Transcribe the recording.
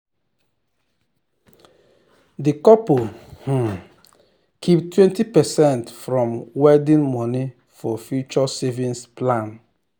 the couple um keep 20 percent from wedding money for future savings plan.